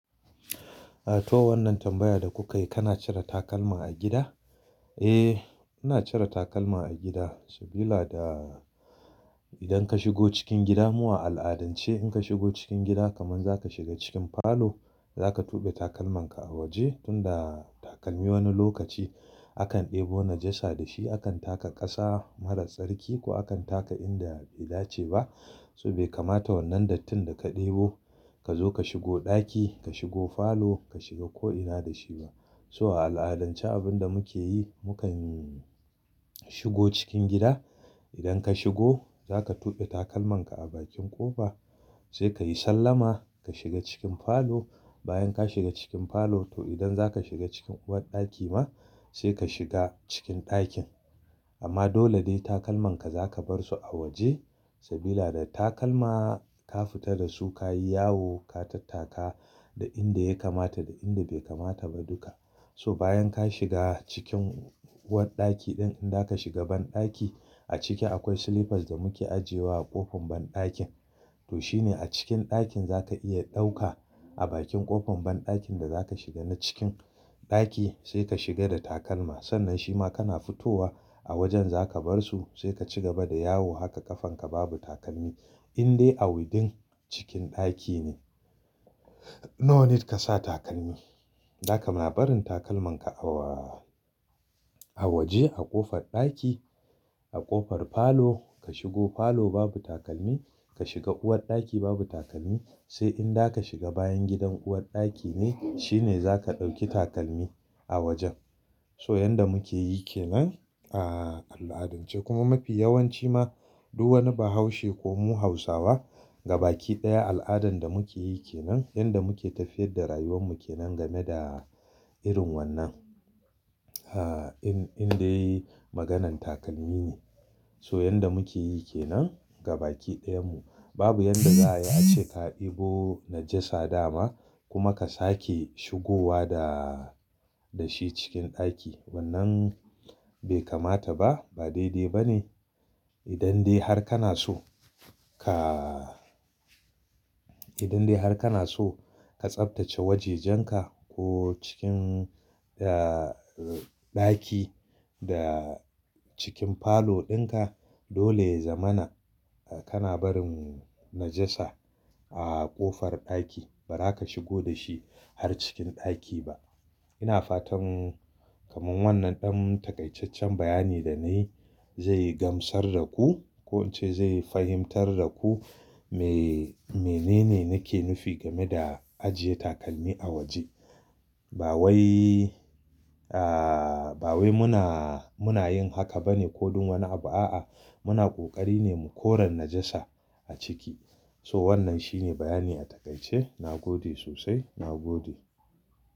A to wannan tambaya da kuka yi, kana cire takalma a gida? Eh, ina cire takalma a gida sabida idan ka shigo cikin gida mu a al'adance in ka shigo cikin gida kaman zaka shiga cikin falo zaka tuɓe takalman ka a waje tunda takalmi wani lokaci akan ɗebo najasa da shi akan taka ƙasa marar tsarki ko akan taka inda bai dace ba. So bai kamata wannan dattin da ka ɗebo ka zo ka shigo ɗaki, ka shigo falo, ka shiga ko ina da shi ba. So a al'adance abin da muke yi mukan shigo cikin gida. Idan ka shigo zaka tuɓe takalman ka a bakin ƙofa sai ka yi sallama ka shiga cikin falo. Bayan ka shiga cikin falo to idan zaka shiga cikin uwar ɗaki ma sai ka shiga cikin ɗakin. Amma dole dai takalman ka zaka bar su a waje sabida da takalma ka fita da su ka yi yawo ka tattaka da inda ya kamata da inda bai kamata ba duka. So bayan ka shiga cikin uwar ɗaki din in za ka shiga banɗaki a ciki akwai slippers da muke ajiyewa a ƙofar banɗakin to shine a cikin ɗakin zaka iya ɗauka a bakin ƙofar banɗakin da zaka shiga na cikin ɗaki sai ka shiga da takalma. Sannan shima kana fitowa a wajen zaka bar su sai ka ci gaba da yawo haka ƙafan ka babu takalmi indai a within cikin ɗaki ne. No need ka sa takalmi. Zaka ma barin takalman ka a waje a ƙofar ɗaki a ƙofar falo ka shigo falo babu takalmi, ka shiga uwar ɗaki babu takalmi sai inda aka shiga bayan gidan uwar ɗaki ne shine zaka ɗauki takalmi a wajen. So yanda muke yi ke nan a al'adance kuma mafi yawanci ma duk wani bahaushe ko mu hausawa gabaɗaya al'adan da muke yi ke nan. Yanda muke tafiyar da rayuwar mu ke nan game da irin wannan. Indai maganan takalmi ne. So yanda muke yi ke nan gabaɗaya mu babu yanda za a yi a ce ka ɗebo najasa dama kuma ka sake shigowa da shi cikin ɗaki wannan bai kamata ba, ba daidai ba ne. Idan dai har kana so ka-- idan dai har kana so ka tsaftace wajenjan ka ko cikin ɗaki da cikin falo ɗin ka dole ya zamana kana barin najasa a ƙofar ɗaki. Ba za ka shigo da shi har cikin ɗaki ba. Ina fatan kaman wannan ɗan takaicaccen bayani da na yi zai gamsar da ku ko in ce zai fahimtar da ku me nene nake nufi game da ajiye takalmi a waje. Ba wai, ba wai muna, muna yin haka ba ne ko dun wani abu a'a muna ƙoƙari ne mu kore najasa a ciki. So wannan shine bayani a takaice. Na gode sosai, na gode.